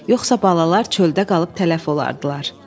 Yoxsa balalar çöldə qalıb tələf olardılar.